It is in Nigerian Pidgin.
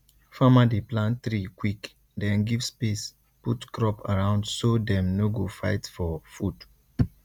farmer dey plant tree quick then give space put crop around so dem no go fight for for food